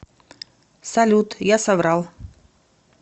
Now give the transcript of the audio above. салют я соврал